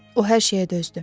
O hər şeyə dözdü.